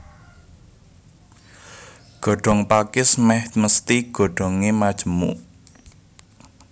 Godhong pakis mèh mesthi godhongé majemuk